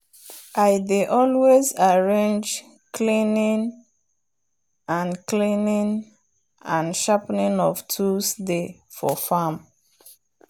i dey always arrange cleaning and cleaning and sharpening of tools day for farm